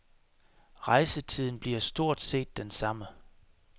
Rejsetiden bliver stort set den samme.